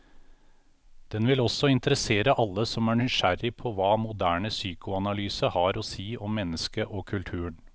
Den vil også interessere alle som er nysgjerrig på hva moderne psykoanalyse har å si om mennesket og kulturen.